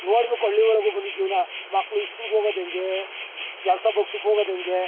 ನೋಡಬೇಕು ಹಳ್ಳಿ ಒಳಗೆ ಬಂದು ಜೀವನ ಮಕ್ಕಳು ಇಸ್ಕೂಲ್ ಗೆ ಹೋಗೋದು ಹೆಂಗೆ ಕೆಲಸ ಬೊಗಸೆಗೆ ಹೋಗೋದು ಹೆಂಗೆ.